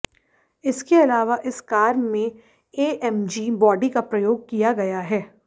इसके अलावा इस कार में एएमजी बॉडी का प्रयोग किया गया है